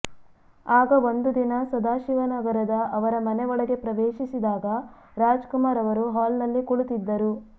ಆಗ ಒಂದು ದಿನ ಸದಾಶಿವನಗರದ ಅವರ ಮನೆ ಒಳಗೆ ಪ್ರವೇಶಿಸಿದಾಗ ರಾಜ್ ಕುಮಾರ್ ಅವರು ಹಾಲ್ ನಲ್ಲಿ ಕುಳಿತಿದ್ದರು